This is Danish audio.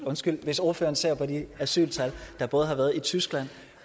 undskyld hvis ordføreren ser på de asyltal der både har været i tyskland